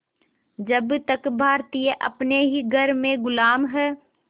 जब तक भारतीय अपने ही घर में ग़ुलाम हैं